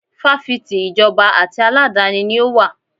Fáfitì ìjọba àti aládàáni ni ó wà.